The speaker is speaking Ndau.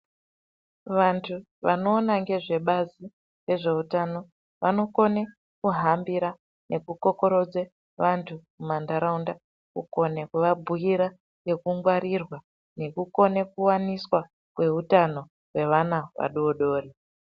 Vantu vanoona ngezvebazi rezveutano vanokone kuhambira nekukokoredze vantu mumantaraunda kukone kuvabhira nekungwarirwa nekukone kuwaniswa kweutano kwevana adodori.